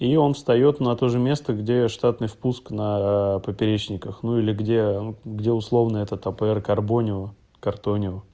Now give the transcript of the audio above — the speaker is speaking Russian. и он встаёт на то же место где штатный впуск на поперечниках ну или где где условный этот апр горбонио картонио